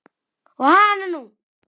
Og hananú!